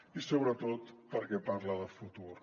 i sobretot perquè parla de futur